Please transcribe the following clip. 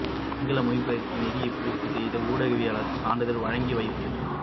சிங்கள மொழி பயிற்சி நெறியை பூர்த்தி செய்த ஊடகவியலாளர்களுக்கு சான்றிதழ் வழங்கி வைப்பு